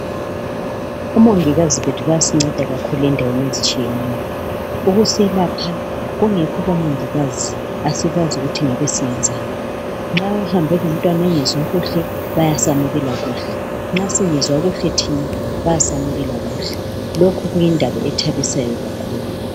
Omongikazi bethu bayasinceda kakhulu endaweni ezitshiyeneyo ukuselapha kungekho omangikazi asikwazi ukuthi ngabe siyenzani nxa uhambe lomtwana engezwa bayasamukela kuhle kuyindaba singezwa kahle thina bayasamukela kuhle lokhu kuyindaba ethabisayo kakhulu